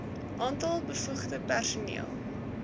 aantal bevoegde personeel